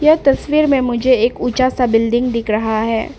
ये तस्वीर में मुझे एक ऊंचा सा बिल्डिंग दिख रहा है।